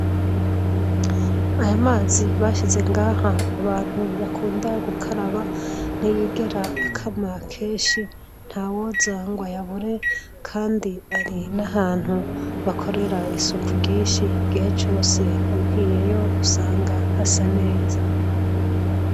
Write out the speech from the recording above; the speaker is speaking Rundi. ayo mazi bashyize ngaha abantu bakunda gukaraba ntiyigera akama keshi nta woza ngo ayabure kandi ari n'ahantu bakorera isuku ryinshi gihe cose abwiyeyo usanga hasaneza